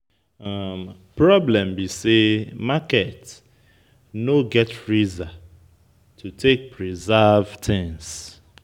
Problem be sey, market no get freezer to take preserve things